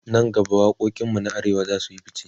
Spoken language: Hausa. nan gaba waƙoƙin mu na arewa zasuyi ficce